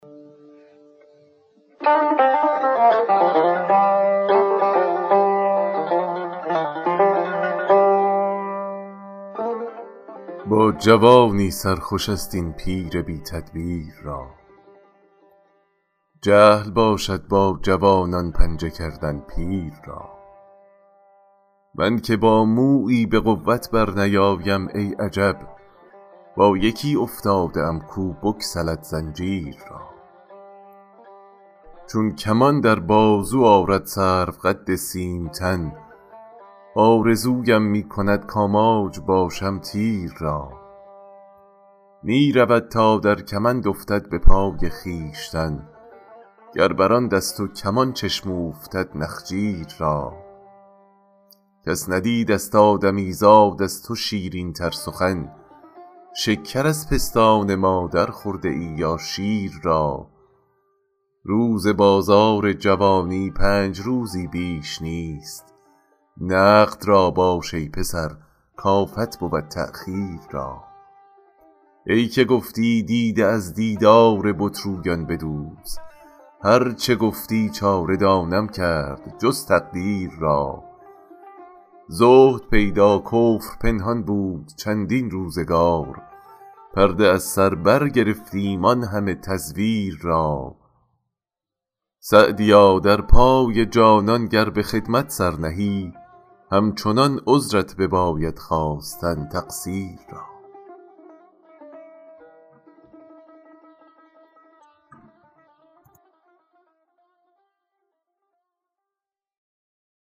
با جوانی سر خوش است این پیر بی تدبیر را جهل باشد با جوانان پنجه کردن پیر را من که با مویی به قوت برنیایم ای عجب با یکی افتاده ام کو بگسلد زنجیر را چون کمان در بازو آرد سروقد سیم تن آرزویم می کند کآماج باشم تیر را می رود تا در کمند افتد به پای خویشتن گر بر آن دست و کمان چشم اوفتد نخجیر را کس ندیدست آدمیزاد از تو شیرین تر سخن شکر از پستان مادر خورده ای یا شیر را روز بازار جوانی پنج روزی بیش نیست نقد را باش ای پسر کآفت بود تأخیر را ای که گفتی دیده از دیدار بت رویان بدوز هر چه گویی چاره دانم کرد جز تقدیر را زهد پیدا کفر پنهان بود چندین روزگار پرده از سر برگرفتیم آن همه تزویر را سعدیا در پای جانان گر به خدمت سر نهی همچنان عذرت بباید خواستن تقصیر را